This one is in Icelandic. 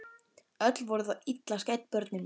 Öll voru þau illa skædd börnin mín.